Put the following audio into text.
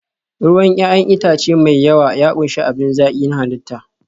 ruwan 'ya'yan itace mai yawa ya ƙunshi abin zaki na halitta